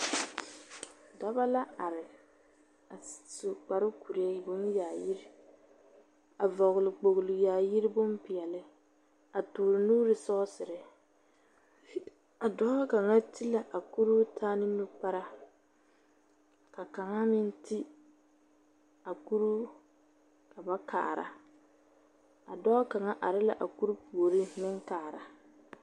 Dɔbɔ la are, a s su kparekuree bonyaayir, a vɔgle kpogli-yaayir bompeɛle, a toore nuuri sɔɔsere. A dɔɔ kaŋa ti la a kuruu taa ne nukpara, ka kaŋa meŋ ti, a kuruu, ka ba kaara. A dɔɔ kaŋa are la a kuruu puoriŋ meŋ kaara.